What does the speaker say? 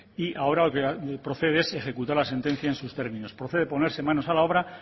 y ahora lo que procede es ejecutar la sentencia en sus términos procede ponerse manos a la obra